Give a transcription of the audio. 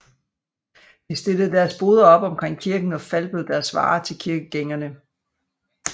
De stillede deres boder op omkring kirken og falbød deres varer til kirkegængerne